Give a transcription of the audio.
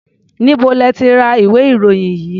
Níbo lẹ ti ra ìwé-ìròyìn yìí?